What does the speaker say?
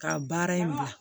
Ka baara in bila